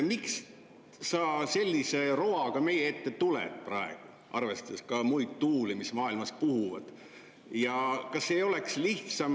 Miks sa sellise roaga praegu meie ette tuled, arvestades neid tuuli, mis maailmas puhuvad?